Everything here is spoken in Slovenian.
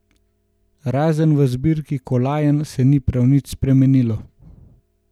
Razen v zbirki kolajn se ni prav nič spremenilo.